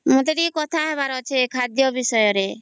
ମତେ ଟିକେ କଥା ହେବାର ଅଛେ ଖାଦ୍ୟ ବିଷୟରେ